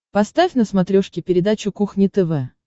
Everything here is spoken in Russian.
поставь на смотрешке передачу кухня тв